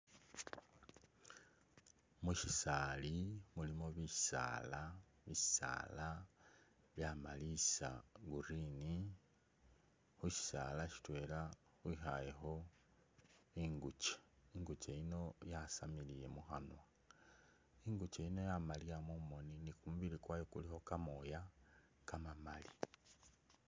Mushisaali mulimo bisaala, bisaala byamalisa green, khu shisaala shitwela khwikhayekho ingukye ,ingukye yino yasamilile mukhanwa ,ingukye yino yamaaliya mumoni ni kumubili kwayo kulikho kamooya kama'maali